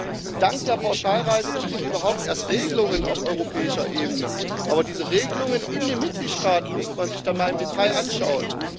Wir haben dank der Pauschalreiserichtlinie überhaupt erst Regelungen auf europäischer Ebene, aber diese Regelungen in den Mitgliedstaaten müsste man sich dann mal im Detail anschauen.